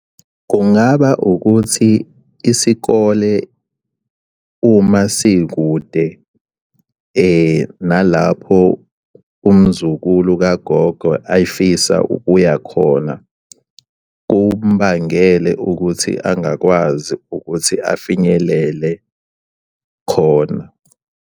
Kungaba ukuthi isikole uma sikude nalapho umzukulu kagogo ayefisa ukuya khona kumubangele ukuthi angakwazi ukuthi afinyelele khona.